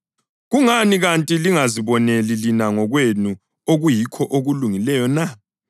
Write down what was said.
Kungani kanti lingaziboneli lina ngokwenu okuyikho okulungileyo na?